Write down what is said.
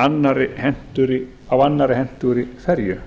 á annarri hentugri ferju